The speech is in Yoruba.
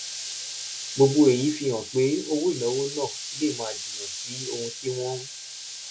gbogbo èyí fi hàn pé owó ìnáwó náà lè máa jìnnà sí ohun tí wọ́n ń